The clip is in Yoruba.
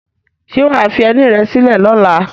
Ṣé wà á fi ẹní rẹ sílẹ̀ lọ́la?